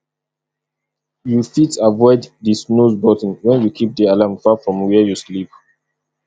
you fit avoid di snooze button when you keep di alarm far from where you sleep